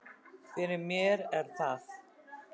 Fyrir mér er það